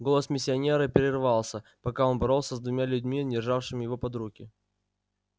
голос миссионера прерывался пока он боролся с двумя людьми державшими его под руки